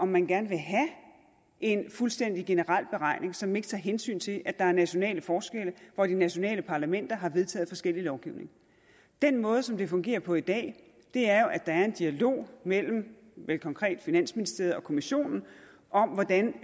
man gerne vil have en fuldstændig generel beregning som ikke tager hensyn til at der er nationale forskelle og at de nationale parlamenter har vedtaget forskellig lovgivning den måde som det fungerer på i dag er jo at der er en dialog mellem vel konkret finansministerierne og kommissionen om hvordan